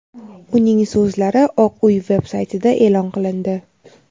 uning so‘zlari Oq uy veb-saytida e’lon qilindi.